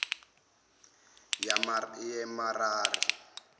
yamerari